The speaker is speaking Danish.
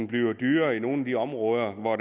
bliver dyrere i nogle af de områder hvor